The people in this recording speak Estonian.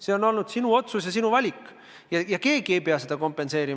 See on olnud sinu otsus ja sinu valik ja keegi ei pea seda kompenseerima.